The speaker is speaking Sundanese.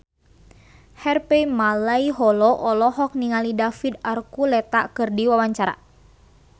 Harvey Malaiholo olohok ningali David Archuletta keur diwawancara